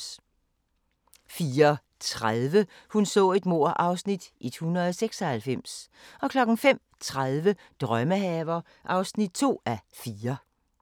04:30: Hun så et mord (Afs. 196) 05:30: Drømmehaver (2:4)